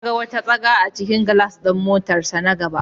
Ya ga wata tsaga a jikin gilas ɗin motarsa na gaba.